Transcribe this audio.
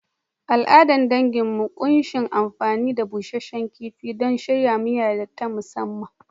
Al’adar danginmu ta ƙunshi amfani da busasshen kifi don shirya miya ta musamman.